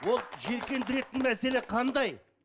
ол жиіркендіретін мәселе қандай